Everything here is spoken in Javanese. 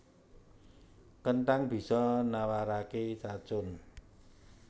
Kenthang bisa nawaraké racun